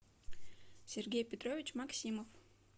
сергей петрович максимов